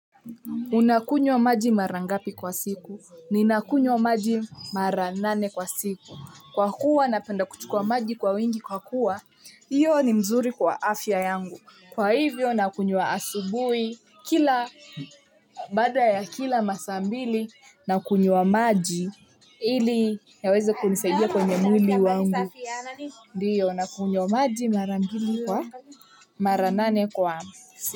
Unakunywa maji marangapi kwa siku. Ninakunywa maji maranane kwa siku. Kwa kuwa napenda kuchukua maji kwa wingi kwa kuwa, hiyo ni mzuri kwa afya yangu. Kwa hivyo, nakunywa asubuhi kila baada ya kila masaambili, nakunywa maji ili yaweze kunisadia kwenye mwili wangu. Ndiyo, nakunywa maji marambili kwa maranane kwa siku.